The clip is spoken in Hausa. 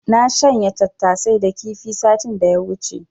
Na shanya tattasai da kifi satin da ya wuce.